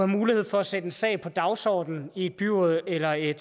mulighed for at sætte en sag på dagsordenen i et byråd eller et